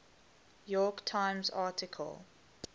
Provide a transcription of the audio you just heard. york times article